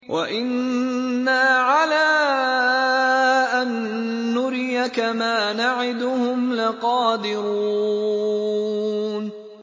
وَإِنَّا عَلَىٰ أَن نُّرِيَكَ مَا نَعِدُهُمْ لَقَادِرُونَ